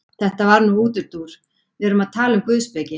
Þetta var nú útúrdúr, við erum að tala um guðspeki.